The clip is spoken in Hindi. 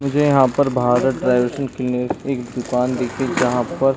मुझे यहाँ पर भारत एक दुकान दिखी जहाँ पर --